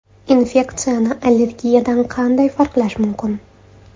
Infeksiyani allergiyadan qanday farqlash mumkin?